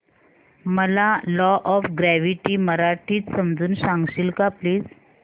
मला law of gravity मराठीत समजून सांगशील का प्लीज